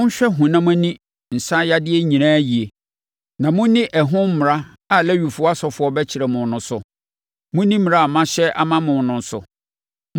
Monhwɛ honam ani nsaneyadeɛ nyinaa yie na monni ɛho mmara a Lewifoɔ asɔfoɔ bɛkyerɛ mo no so; monni mmara a mahyɛ ama mo no so.